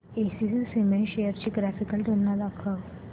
ACC limited shares ची graphical तुलना दाखव